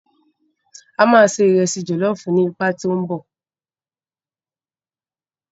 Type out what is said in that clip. A máa ṣe ìresì jọ̀lọ́ọ̀fù ní ipá tí ó ń bọ̀.